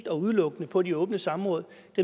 er udelukkende på de åbne samråd